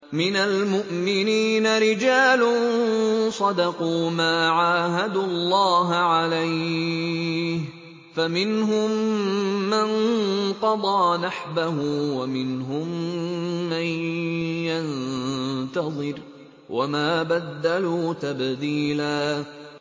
مِّنَ الْمُؤْمِنِينَ رِجَالٌ صَدَقُوا مَا عَاهَدُوا اللَّهَ عَلَيْهِ ۖ فَمِنْهُم مَّن قَضَىٰ نَحْبَهُ وَمِنْهُم مَّن يَنتَظِرُ ۖ وَمَا بَدَّلُوا تَبْدِيلًا